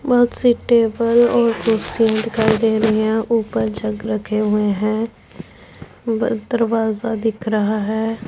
बहोत सी सब टेबल और कुर्सियां दिखाई दे रही हैं ऊपर जग रखे हुएं हैं वह दरवाजा दिख रहा हैं।